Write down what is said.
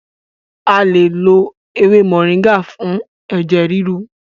A lè lo ewé moringa fún ẹ̀jẹ̀ ríru.